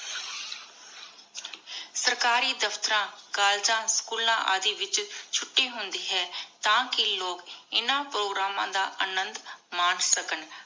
ਸਰਕਾਰੀ ਦਫਤਰਾਂ, ਕਾਲਜਾਂ, ਸਕੂਲਾਂ ਆਦਿ ਵਿਚ ਛੁਟੀ ਹੁੰਦੀ ਹੈ ਤਾਕੀ ਲੋਗ ਇਨਾ ਪ੍ਰੋਗਰਾਮਾਂ ਦਾ ਅਨੰਦੁ ਮਾਨ ਸਕਣ